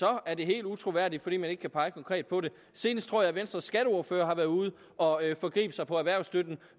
er det helt utroværdigt fordi man ikke kan pege helt konkret på det senest tror er venstre skatteordfører der har været ude og forgribe sig på erhvervsstøtten